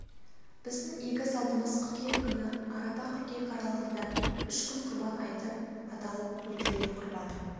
біздің игі салтымыз қыркүйек күні арапа қыркүйек аралығында үш күн құрбан айты аталып өтіледі құрбан